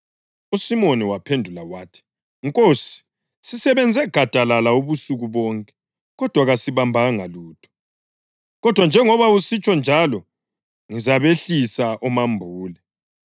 USimoni waphendula wathi, “Nkosi, sisebenze gadalala ubusuku bonke, kodwa kasibambanga lutho. Kodwa njengoba usitsho njalo ngizabehlisa omambule.”